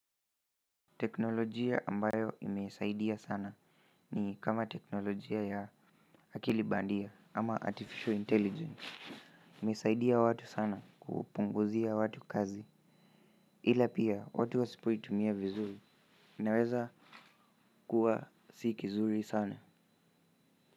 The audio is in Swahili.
Teknolojia ambayo imesaidia sana ni kama teknolojia ya akili bandia ama artificial intelligence. Imesaidia watu sana kupunguzia watu kazi ila pia watu wasipoitumia vizuri inaweza kuwa si kizuri sana.